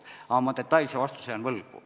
Aga ma detailse vastuse jään võlgu.